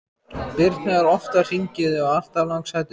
Birna er oft að hringja í þig og alltaf langsætust!